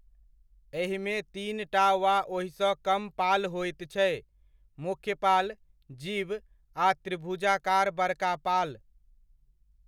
एहिमे तीनटा वा ओहिसँ कम पाल होइत छै, मुख्य पाल, जिब आ त्रिभुजाकार बड़का पाल।